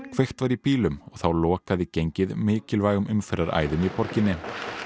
kveikt var í bílum og þá lokaði gengið mikilvægum umferðaræðum í borginni